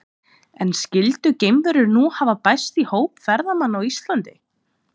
En skyldu geimverur nú hafa bæst í hóp ferðamanna á Íslandi?